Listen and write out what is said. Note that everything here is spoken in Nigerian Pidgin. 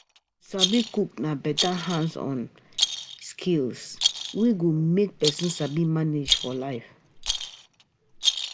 sabi cook na beta hands-on skill wey go make person sabi manage for life.